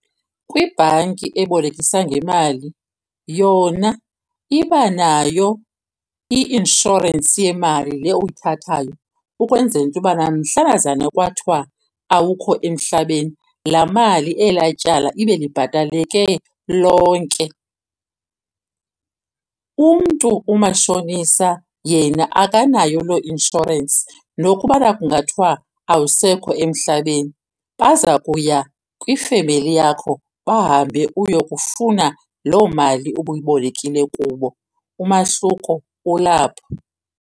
Kwibhanki ebolekisa ngemali yona iba nayo i-inshorensi yemali le uyithathayo, ukwenzela into yobana mhlanazana kwathiwa awukho emhlabeni laa mali elaa tyala ibe libhateleke lonke. Umntu umashonisa yena akanayo loo insurance. Nokubana kungathwa awusekho emhlabeni baza kuya kwifemeli yakho bahambe ukuyokufuna loo mali ubuyibolekile kubo. Umahluko ulapho.